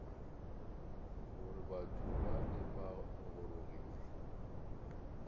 gore batho bale ba gorogile